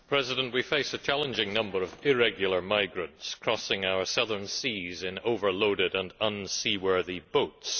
Mr President, we face a challenging number of irregular migrants crossing our southern seas in overloaded and unseaworthy boats.